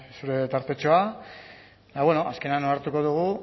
zure tartetxoa azkenean onartuko dugu